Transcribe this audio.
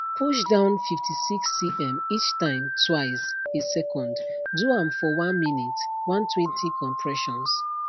push down 56cm each time twice a second do am for 1 minute 120 compressions